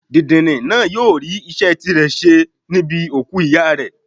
Dìndìnrìn náà yóò rí iṣẹ́ tirẹ̀ ṣe níbi òkú ìyá rẹ̀.